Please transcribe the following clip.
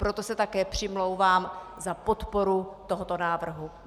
Proto se také přimlouvám za podporu tohoto návrhu.